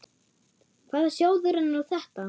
Hvaða sjóður er nú þetta?